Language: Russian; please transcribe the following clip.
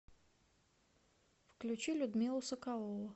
включи людмилу соколову